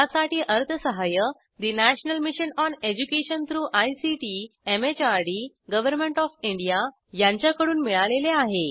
यासाठी अर्थसहाय्य national mission on education through ICT MHRD government of India यांच्याकडून मिळालेले आहे